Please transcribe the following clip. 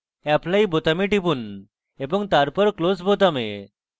apply বোতামে টিপুন এবং তারপর close বোতামে